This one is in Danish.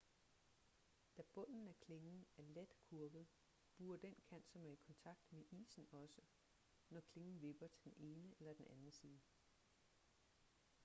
da bunden af klingen er let kurvet buer den kant som er i kontakt med isen også når klingen vipper til den ene eller den anden side